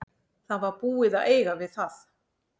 Það var búið að eiga við það.